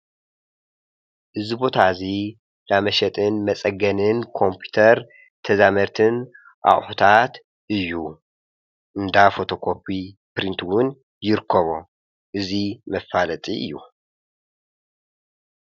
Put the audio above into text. እዚ ቦታ እዚ ናይ መሸጥን መፀገንን ኮምፕዩተር ተዛመድቲ ኣቁሑታትን እዩ። እንዳ ፎቶኮፒ ፣ፕሪንት እውን ይርኮቦም ።እዚ መፋለጢ እዩ።